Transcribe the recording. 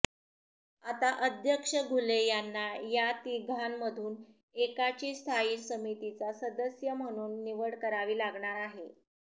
आता अध्यक्ष घुले यांना या तिघांमधून एकाची स्थायी समितीचा सदस्य म्हणून निवड करावी लागणार आहे